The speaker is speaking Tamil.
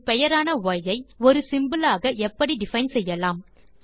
ஒரு பெயரான ய் ஐ ஒரு சிம்போல் ஆக எப்படி டிஃபைன் செய்யலாம்